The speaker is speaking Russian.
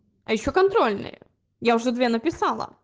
а ещё контрольная я уже две написала